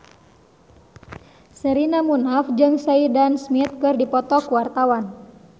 Sherina Munaf jeung Sheridan Smith keur dipoto ku wartawan